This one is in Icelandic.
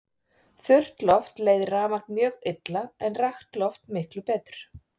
Þurrt loft leiðir rafmagn mjög illa en rakt loft miklu betur.